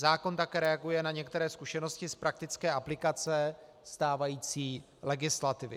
Zákon také reaguje na některé zkušenosti z praktické aplikace stávající legislativy.